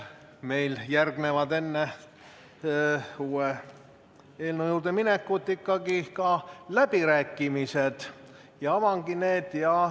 Meil tulevad enne uue eelnõu juurde minekut ikkagi ka läbirääkimised ja avangi need.